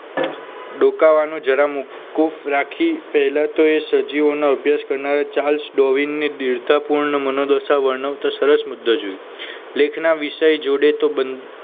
ડોકાવાનો જરા મોકૂફ રાખી પહેલા તો એ સજીવોનો અભ્યાસ કરનાર ચાલ્સ ડોવીનને દિલતા પૂર્ણ મનોદશા વર્ણવ તો સરસ મુદ્દો જોઈએ લેખના વિષય જોડે